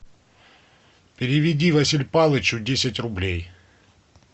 переведи василь палычу десять рублей